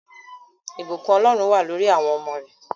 Ìbùkún Ọlọ́run wà lórí awọn ọmọ rẹ